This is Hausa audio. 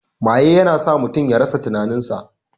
Maye ya na sa mutum ya rasa tinanin sa